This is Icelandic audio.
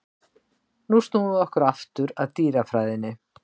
En snúum okkur aftur að dýrafræðinni.